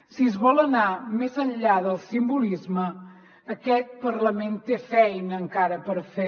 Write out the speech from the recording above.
si es vol anar més enllà del simbolisme aquest parlament té feina encara per fer